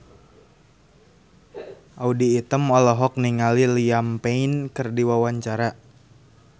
Audy Item olohok ningali Liam Payne keur diwawancara